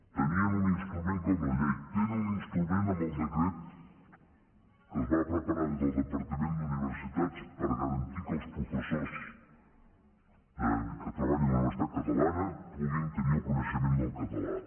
tenien un instrument com la llei tenen un instrument amb el decret que es va preparar des del departament d’universitats per a garantir que els professors que treballen en una universitat catalana puguin tenir el coneixement del català